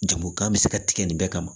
Jamu kan bɛ se ka tigɛ nin bɛɛ kama